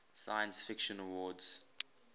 science fiction awards